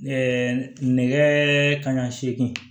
nɛgɛ kanɲɛ seegin